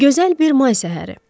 Gözəl bir may səhəri.